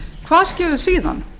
hvað skeður síðan